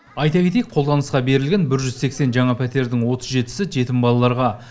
айта кетейік қолданысқа берілген бір жүз сексен жаңа пәтердің отыз жетісі жетім балаларға